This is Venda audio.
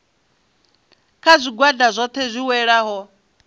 kha zwigwada zwohe zwi welaho